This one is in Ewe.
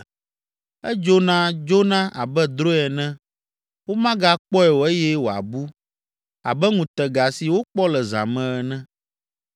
Edzona dzona abe drɔ̃e ene, womagakpɔe o eye wòabu abe ŋutega si wokpɔ le zã me ene.